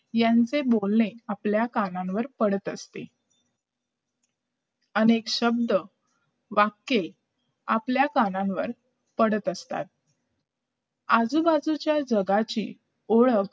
यांचे बोलणे आपल्या कानांवर पडत असते अनेक शब्द वाक्य आपल्या कानांवर पडत असतात आजूबाजूच्या जगाची ओळख